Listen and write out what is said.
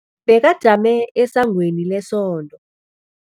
Bekajame esangweni lesonto.